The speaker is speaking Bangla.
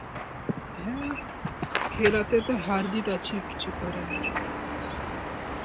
হ্যাঁ, খেলাতে তো হারজিত আছেই, কিছু করার নেই.